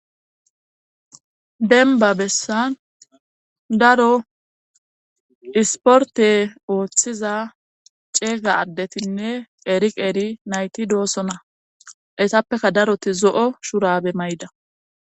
denba bessan daro isporte ooththiza ceega addetinne eriq eri nayti doossona esappeka daroti zo7o shurabe mayda